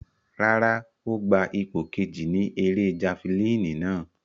Rárá, o gba ipo keji ni ere jafilini nàa